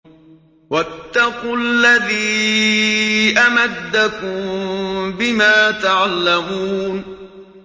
وَاتَّقُوا الَّذِي أَمَدَّكُم بِمَا تَعْلَمُونَ